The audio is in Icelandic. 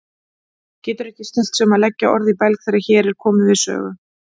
Getur ekki stillt sig um að leggja orð í belg þegar hér er komið sögu.